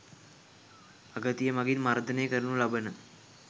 අගතිය මගින් මර්දනය කරනු ලබන